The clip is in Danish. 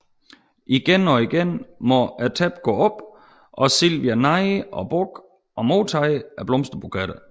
Igen og igen må tæppet gå op og Silvia neje og bukke og modtage blomsterbuketter